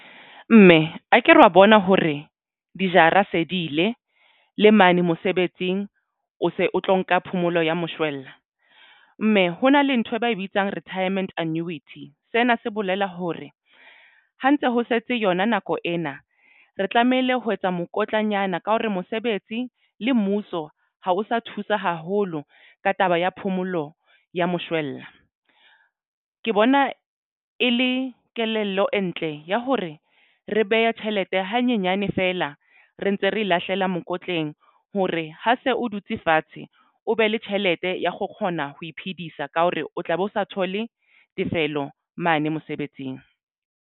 Mme akere wa bona hore dijara se di ile le mane mosebetsing o se o tlo nka phomolo ya moshwella mme hona le nthwe ba e bitsang retirement annuity sena se bolela hore ha ntse ho setse yona nako ena. Re tlamehile ho etsa mokotlanyana ka hore mosebetsi le mmuso ha o sa thusa haholo ka taba ya phomolo ya moshwella. Ke bona e le kelello e ntle ya hore re behe tjhelete hanyenyane feela re ntse re lahlela mokotleng hore ha se o dutse fatshe o be le tjhelete ya ho kgona ho iphedisa ka hore o tla be o sa thole tefello mane mosebetsing.